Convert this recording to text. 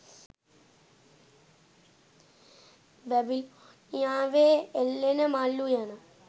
බැබිලෝනියාවේ එල්ලෙන මල් උයන